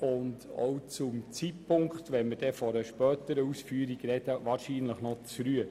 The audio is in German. Sich bereits jetzt für eine spätere Ausführung auszusprechen, betrachten wir als verfrüht.